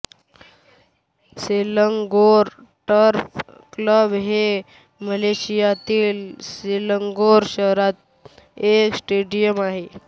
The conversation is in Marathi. सेलंगोर टर्फ क्लब हे मलेशियातील सेलंगोर शहरात एक स्टेडियम आहे